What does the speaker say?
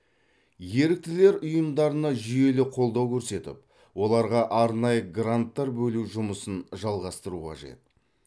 еріктілер ұйымдарына жүйелі қолдау көрсетіп оларға арнайы гранттар бөлу жұмысын жалғастыру қажет